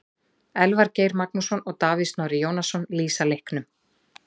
Elvar Geir Magnússon og Davíð Snorri Jónasson lýsa leiknum.